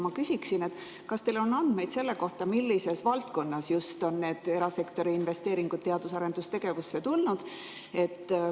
Ma küsin, kas teil on andmeid selle kohta, millises valdkonnas on neid erasektori investeeringuid teadus- ja arendustegevusse tehtud.